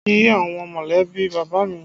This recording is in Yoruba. Mo lọ kí àwọn molebi bàbá mi